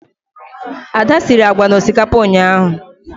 Ada siri agwa na osikapa ụnyahụ.